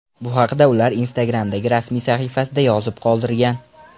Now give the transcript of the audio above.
Bu haqda ular Instagram’dagi rasmiy sahifasida yozib qoldirgan.